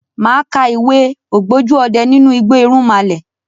Màá ka ìwé " ògbójú ọdẹ nínú igbó irúnmalẹ̀".